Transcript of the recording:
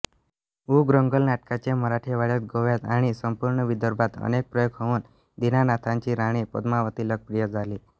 उग्रंंगल नाटकाचे मराठवाड्यात गोव्यात आणि संपूर्ण विदर्भात अनेक प्रयोग होऊन दीनानाथांची राणी पद्मावती लोकप्रिय झाली